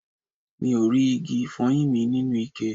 Mi ò rí igi ifoyin mi nínú ikẹ